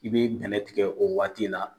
I be bɛnɛ tigɛ o waati la.